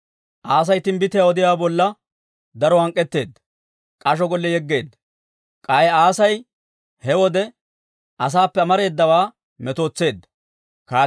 Asay timbbitiyaa odiyaawaa bolla daro hank'k'etteedda; k'asho gollen yegeedda. K'ay Asay he wode asaappe amareedawaa metootseedda.